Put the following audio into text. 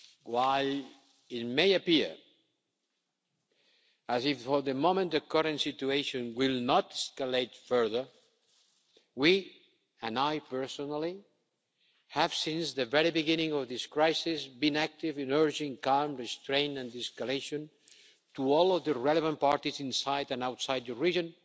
While it may appear as if, for the moment, the current situation will not escalate further, we, and I personally, have since the very beginning of this crisis been active in urging calm, restraint and de-escalation to all of the relevant parties inside and outside the region,